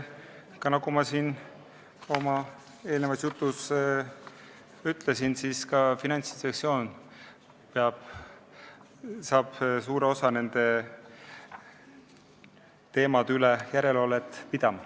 Ja nagu ma siin oma eelnenud jutu sees ütlesin, Finantsinspektsioon hakkab suures osas ka nende teemade üle järelevalvet tegema.